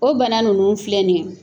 O bana ninnu filɛ ni ye